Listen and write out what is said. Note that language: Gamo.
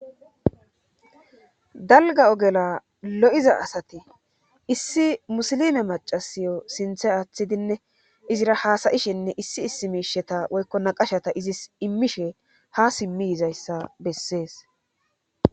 dalga ogela lo7iza asati issi musilime macasiyo sinthe aaththidinne izira haasayishinne issi issi miisheta woykkona qashata izis immishe ha simmi izayssa bessees